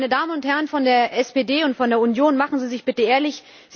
Meine Damen und Herren von der SPD und von der Union Seien Sie bitte ehrlich!